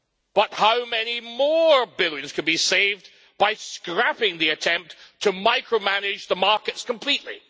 But how many more billions could be saved by scrapping the attempt to micromanage the markets completely?